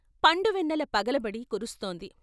పండువెన్నెల పగలబడి కురుస్తోంది.